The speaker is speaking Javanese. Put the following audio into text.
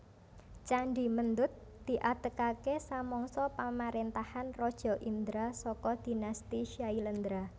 Candhi Mendut diadegaké samangsa pamaréntahan Raja Indra saka dinasti Syailendra